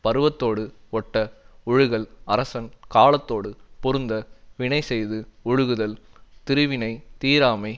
பருவத்தோடு ஒட்ட ஒழுகல் அரசன் காலத்தோடு பொருந்த வினைசெய்து ஒழுகுதல் திருவினைத் தீராமை